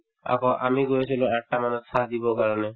আকৌ আমি গৈছিলো আঠটা মানত চাহ দিবৰ কাৰণে